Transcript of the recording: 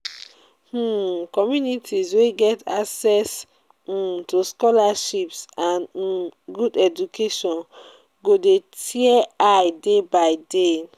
um communities wey get access um to scholarships and um good education go de tear eye day by day